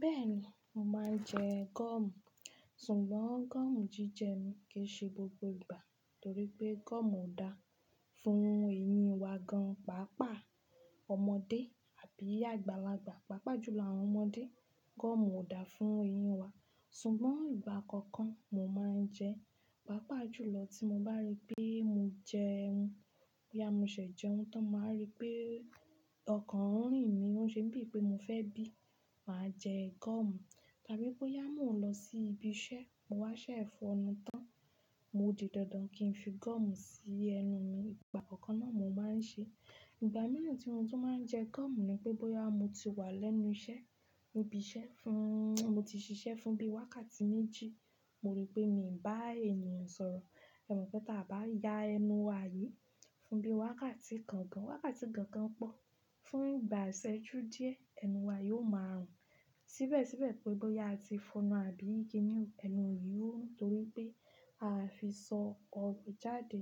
Bẹ́ẹ̀ni, mọ máa ń jẹ gọ́ọ̀mù. Ṣùgbọ́n gọ́ọ̀mù jíjẹ mi kìí ṣe gbogbo ìgbà torí pé gọ́ọ̀mù kò dáa fún ẹyín wà gán, pàápàá ọmọdé àbí àgbàlagbà, pàápàá jùlọ àwọn ọmọdé. Gọ́ọ̀mù ò dáa fún ẹyín wa. Ṣùgbọ́n ìgbà kan kan mo máa ń jẹ, pàápàá jùlọ tí mo bá rí pé mo jẹun, bóyá mọ ṣẹ̀ jẹun tán, mọ wá rí pé ọkàn rìn mí, ó ṣe bíi pé mo fẹ́ bí, màá jẹ gọ́ọ̀mù. Tàbí bóyá mò ń lọ sí ibi iṣẹ́, mọ wá ṣẹ fọ́nu tán, mo dì dandan kí n fi gọ́ọ̀mù sí ẹnu mi. Ìgbà kánkan náà mo máa ń ṣe. Ìgbà mìíràn tí mo tún máa ń jẹ gọ́ọ̀mù ni pé bóyá mo ti wà lẹ́nu iṣẹ́, níbi iṣẹ́ fún, mo ti ṣiṣẹ́ fún bí wákàtí méjì, mo rí pé mi ò bá ènìyàn sọ̀rọ̀. Ẹ̀ mọ̀ pé tí a bá yá ẹnu wà yìí fún bí wákàtí kan gan, wákàtí kan gan pọ, fún ìgbà ìṣẹ́ ju díẹ̀, ẹnu wa yóò máa rùn. Síbẹ̀síbẹ̀ pé bóyá a ti fọ́nu àbí kíni, ẹnu yìí ó ruń, torí pé a fi sọ ọ̀rọ̀ jáde.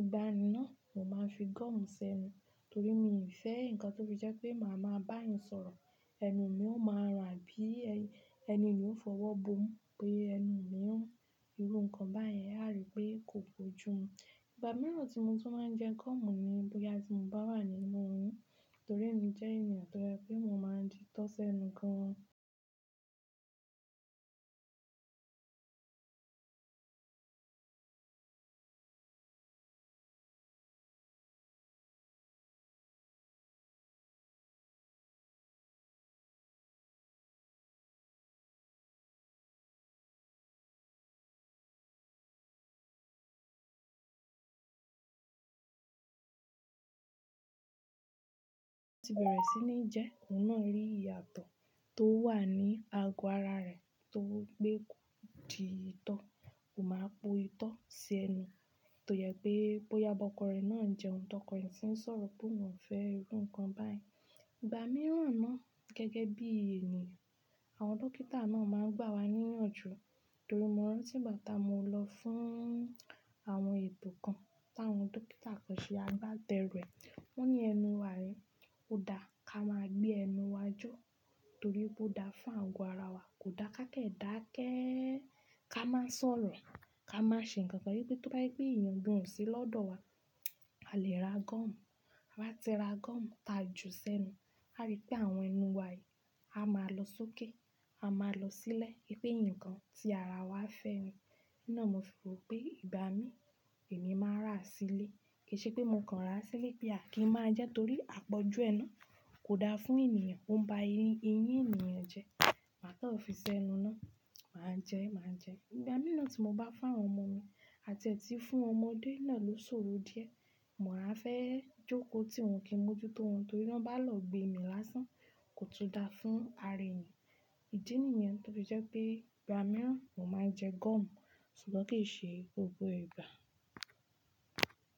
Ìgbà mìíràn, mo máa ń fi gọ́ọ̀mù ṣẹnu torí mi ò fẹ́ nǹkan tó fi jẹ́ pé màá máa bá èyán sọ̀rọ̀, ẹnu mi ó máa rùn àbí ẹni ni ó fọwọ́ bómu pé ẹnu mi run, irú nǹkan báyẹn, a ríi pé kò bójú mú Ìgbà mìíràn tí mo tún máa ń jẹ gọ́ọ̀mù ni bóyá bí n bá wà nínú oyún torí èmi jẹ́ ènìyàn tó jẹ wípé, mo máa ń dí tọ́ ṣẹ́nu gan an. Tí bẹ̀rẹ̀ sí ní jẹ́, òun náà rí ìyàtọ̀ tó wà ní àgọ ará rẹ̀ torípé kò di itọ́, kò máa po itọ́ sí ẹnu. To yẹ pé bóyá bọkọ rẹ̀ náà ń jẹun t'ọkọ rẹ, si ń sọ̀rọ̀ p'òun o fẹ́ iru nǹkan báyi. Ìgbà mìíràn náà gẹ́gẹ́ bí ènìyàn, àwọn dọkítà náà máa ń gbà wá níyànjú. Torí mo rántí ìgbà táa mọ lọ fún àwọn ètò kan t'àwọn dọkítà kàn ṣe, a bá tẹru ẹ̀, wọ́n ní ẹnu wa yi ò dá, ká máa gbé ẹnu wa jo torí wi pò dá fún ago ara wa. Kò dá ká kẹ́dà kẹ́ẹ, ká máa sọ̀rọ̀, ká máa ṣe nǹkan kan yí pé tó bá jẹ pé èèyàn gan o sí lọ́dọ̀ wa, a lè ra gọ́ọ̀mù. A bá ti ra gọ́ọ̀mù ta ju sẹ́nu, a rí i pé àwọn ẹnu wa yìí, a máa lọ sókè, a máa lọ sílẹ̀. Ipe ńǹkan tí ara wa fẹ́ ni. Ní náà mo fi rò pé ìgbà mí, èmi máa rà á sílẹ̀. Kì í ṣe pé mo kàn rà á síle pé a kì í máa jẹ ẹ́ torí àpọ̀jù ẹ náà kò dá fún ènìyàn, ó ń ba eyín, eyín ènìyàn jẹ́. Màá tọ fi ṣẹ́ ẹnu náà, màá jẹ ẹ́, màá jẹ ẹ́. Ìgbà mìíràn tí mo bá fún àwọn ọmọ mi àti ẹ̀ti fún ọmọdé náà ló ṣòro díẹ̀. Mo á fẹ́ jókò tí wọn kì í mójú tó wọn torí ọ́n bá lọọ gbé mi lásán, kò tún dá fún ara èèyàn. Ìdí nìyẹn tó fi jẹ́ pé ìgbà mìíràn mo máa ń jẹ gọ́ọ̀mù ṣùgbọ́n kì í ṣe gbogbo ìgbà.